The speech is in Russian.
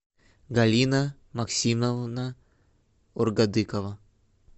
галина максимовна оргадыкова